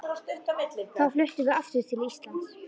Þá fluttum við aftur til Íslands.